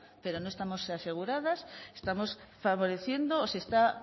pero no estamos aseguradas estamos favoreciendo o se está